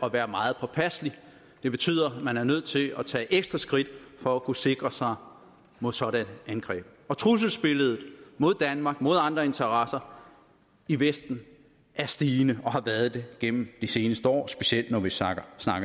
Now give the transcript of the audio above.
at være meget påpasselig det betyder at man er nødt til at tage ekstra skridt for at kunne sikre sig mod sådanne angreb trusselsbilledet mod danmark mod andre interesser i vesten er stigende og har været det gennem de seneste år specielt når vi snakker